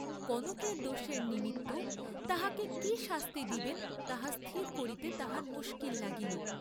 কনকের দোষের নিমিত্ত তাহাকে কি শাস্তি দিবেন তাহা স্থির করিতে তাঁহার মুস্কিল লাগিল।